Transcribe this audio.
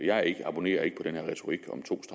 jeg abonnerer ikke på den der retorik